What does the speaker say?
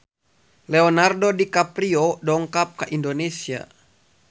Leonardo DiCaprio dongkap ka Indonesia